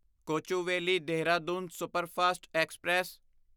Kochuveli Dehradun superfast express